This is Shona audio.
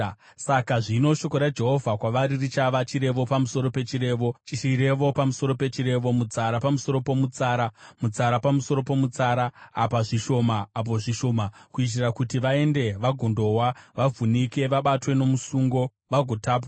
Saka zvino, shoko raJehovha kwavari richava: Chirevo pamusoro pechirevo, chirevo pamusoro pechirevo, mutsara pamusoro pomutsara, mutsara pamusoro pomutsara, apa zvishoma, apo zvishoma, kuitira kuti vaende vagondowa, vavhunike, vabatwe nomusungo vagotapwa.